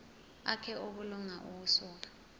akhe obulunga ukusuka